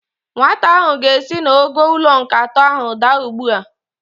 Nwata ahụ ga-esi n'ogo ụlọ nke atọ ahụ adaa ugbu a.